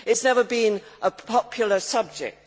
it has never been a popular subject.